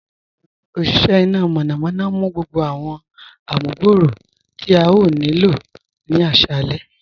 Oníṣẹ̀ ìná mọ̀nàmọ̀na ǹ mú gbogbo awọn àmùgbọ̀rọ̀ tí a yòò ní ilọ̀ ní àṣalẹ̀.